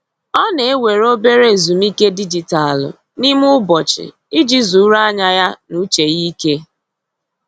Ọ na-ewere obere ezumike dijitalụ n'ime ụbọchị iji zuru anya ya na uche ya ike.